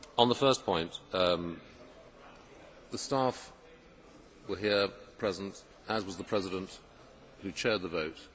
On the first point, the staff were here present, as was the President, who chaired the vote.